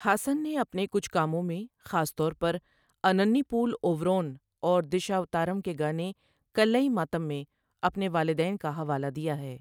ہاسن نے اپنے کچھ کاموں میں، خاص طور پر اننیپول اوروون، اور دشاوتارم کے گانے 'کلًئی ماتم' میں اپنے والدین کا حوالہ دیا ہے۔